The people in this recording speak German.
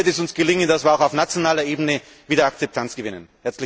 Dann wird es uns gelingen, dass wir auch auf nationaler Ebene wieder Akzeptanz gewinnen.